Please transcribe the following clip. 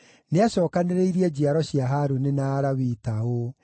Nĩacookanĩrĩirie njiaro cia Harũni na Alawii ta ũũ: